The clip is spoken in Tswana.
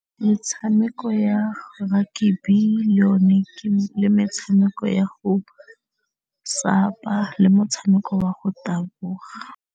Metshameko ya rugby le o ne le metshameko ya go sapa, le motshameko wa go taboga.